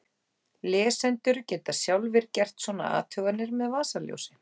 Lesendur geta sjálfir gert svona athuganir með vasaljósi!